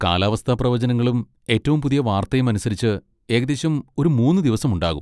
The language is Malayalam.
കാലാവസ്ഥാപ്രവചനങ്ങളും ഏറ്റവും പുതിയ വാർത്തയും അനുസരിച്ച്, ഏകദേശം ഒരു മൂന്ന് ദിവസം ഉണ്ടാകും.